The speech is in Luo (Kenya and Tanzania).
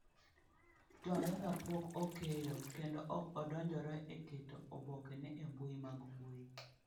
Twaweza pok okeyo, kendo ok odonjore e keto obokeno e mbui mag mbui.